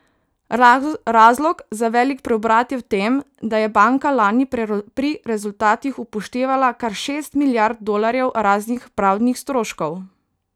Razlog za velik preobrat je v tem, da je banka lani pri rezultatih upoštevala kar šest milijard dolarjev raznih pravdnih stroškov.